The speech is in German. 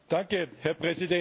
Herr Präsident!